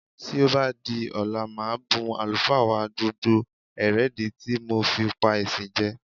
Tí ó bá di ọ̀la màá bun àlùfáà wa gbọ̀ èrèdí ti mo fi pá ìsìn jẹ.